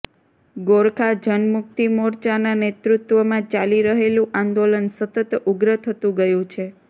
ગોરખા જનમુક્તિ મોરચાના નેતૃત્વમાં ચાલી રહેલું આંદોલન સતત ઉગ્ર થતું ગયું છે